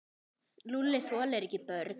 Lúlli þolir ekki börn.